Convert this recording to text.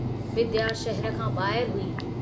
विद्या शहर खां बाहिर हुई।